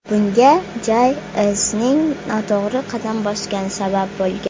Bunga Jay-Z’ning noto‘g‘ri qadam bosgani sabab bo‘lgan.